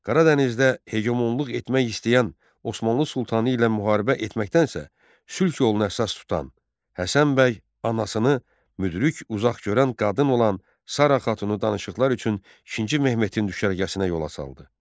Qaradənizdə hegemonluq etmək istəyən Osmanlı sultanı ilə müharibə etməkdənsə, sülh yoluna əsas tutan Həsən bəy anasını müdrik, uzaqgörən qadın olan Sara xatını danışıqlar üçün İkinci Mehmetin düşərgəsinə yola saldı.